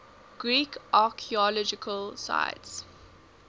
greek archaeological sites